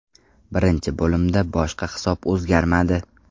Birinchi bo‘limda boshqa hisob o‘zgarmadi.